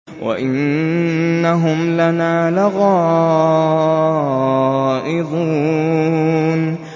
وَإِنَّهُمْ لَنَا لَغَائِظُونَ